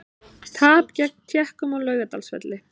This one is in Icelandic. Tap gegn Tékkum á Laugardalsvelli